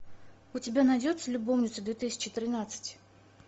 у тебя найдется любовница две тысячи тринадцать